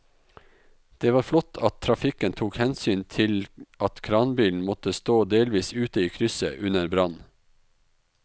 Det var flott at trafikken tok hensyn til at kranbilen måtte stå delvis ute i krysset under brannen.